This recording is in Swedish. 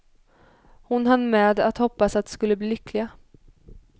Hon hann med att hoppas att de skulle bli lyckliga.